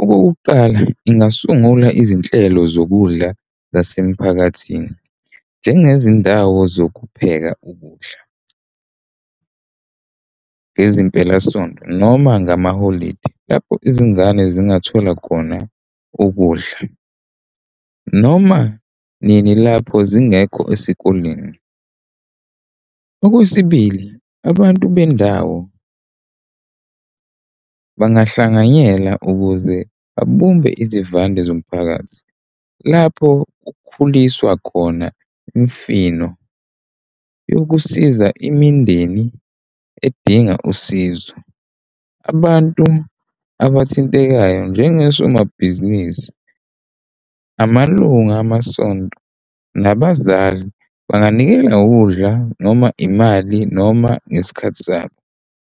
Okokuqala ingasungula izinhlelo zokudla zasemphakathini, njengezindawo zokupheka ukudla ngezimpelasonto noma ngamaholidi lapho izingane ezingathola khona ukudla noma nini lapho zingekho esikoleni. Okwesibili, abantu bendawo bangahlanganyela ukuze babumbene izivande zomphakathi lapho kukhuliswa khona Imifino yokusiza imindeni edinga usizo. Abantu abathintekayo njengosomabhizinisi, amalunga amasonto nabazali banganikela udla noma imali noma ngesikhathi sabo